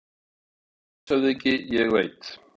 LANDSHÖFÐINGI: Ég veit.